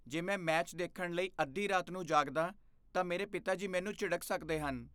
ਜੇ ਮੈਂ ਮੈਚ ਦੇਖਣ ਲਈ ਅੱਧੀ ਰਾਤ ਨੂੰ ਜਾਗਦਾ ਤਾਂ ਮੇਰੇ ਪਿਤਾ ਜੀ ਮੈਨੂੰ ਝਿੜਕ ਸਕਦੇ ਹਨ।